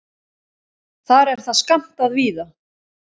Þar er það skammtað víða.